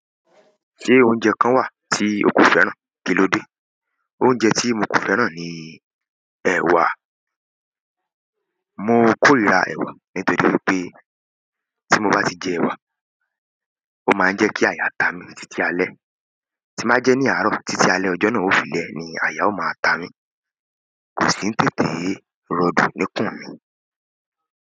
Se oúnjẹ kan wa ti o ko fẹ́ràn? Kilode? Oúnjẹ tí mo kò fẹ́ràn ni ẹ̀wà. Mo kòrira ẹ̀wà nítorí pé tí mo bá jẹ ẹ̀wà, ó máa ń jẹ́ kí àyà ta mi títí alẹ́. Tí n ba jẹ ní àárọ̀, títí alẹ́ ọjọ́ náà ó fi lẹ̀ ni àyà ó máa ta mí. Kò sí n tètè rọdù níkùn mi.